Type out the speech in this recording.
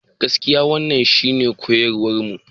Gaskiya wannan shine koyarwarmu.